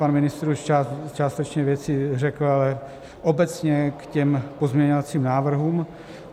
Pan ministr už částečně věci řekl, ale obecně k těm pozměňovacím návrhům.